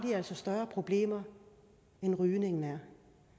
større problemer end rygningen